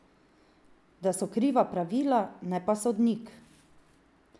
Da so kriva pravila, ne pa sodnik.